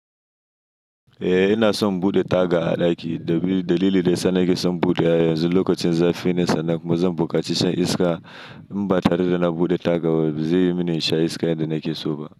Eh ina son bude taga a ɗaki domin. Dalili da yasa nake son buɗe a yanzu lokacin za fi ne san nan kuma zan bukaci shan iska. In ba tare da na buɗe taga ba zai yi mini in sha iska yanda nake so ba.